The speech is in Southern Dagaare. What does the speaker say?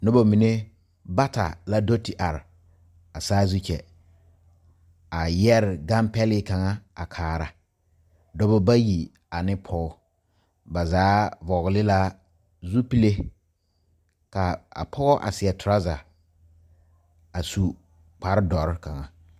Noba mene bata la do te are a saazu kyɛ. A yɛre gane pɛli kanga a kaara. Dɔbɔ bayi ane pɔgɔ. Ba zaa vogle la zupile. Ka a pɔgɔ a seɛ turaza a su kpar doɔre kanga